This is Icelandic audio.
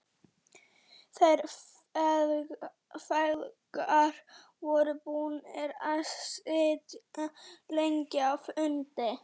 Þeir feðgar voru búnir að sitja lengi á fundi.